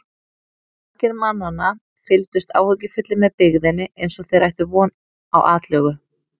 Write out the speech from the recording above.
Margir mannanna fylgdust áhyggjufullir með byggðinni eins og þeir ættu von á atlögu.